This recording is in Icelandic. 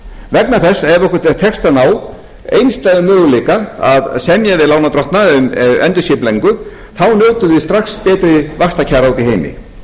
vegna þess að ef okkur tekst að ná einstæðum möguleika að semja við lánardrottna um endurskipulagningu þá njótum við strax betri vaxtakjara úti í heimi